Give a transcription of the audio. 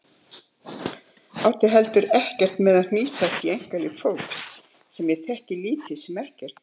Átti heldur ekkert með að hnýsast í einkalíf fólks sem ég þekkti lítið sem ekkert.